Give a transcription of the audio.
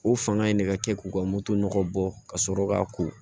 O fanga in de ka kɛ k'u ka moto nɔgɔ bɔ ka sɔrɔ k'a ko